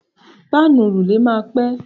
Páànù òrùlé máa pẹ́.